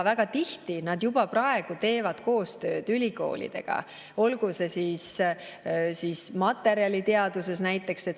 Väga tihti teevad nad juba praegu koostööd ülikoolidega, materjaliteaduses näiteks.